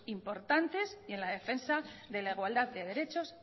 importantes y en la defensa de la igualdad de derechos